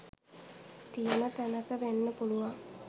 තියන තැනක වෙන්න පුළුවන්